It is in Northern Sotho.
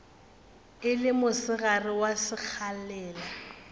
e le mosegare wa sekgalela